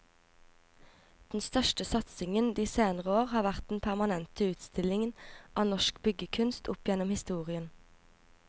Den største satsingen de senere år har vært den permanente utstillingen av norsk byggekunst opp gjennom historien.